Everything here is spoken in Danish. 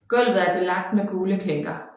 Gulvet er belagt med gule klinker